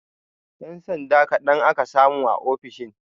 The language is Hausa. Ƴan sanda kaɗan aka samu a ofishin